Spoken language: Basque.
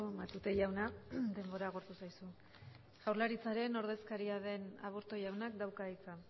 matute jauna denbora agortu zaizu jaurlaritzaren ordezkaria den aburto jaunak dauka hitza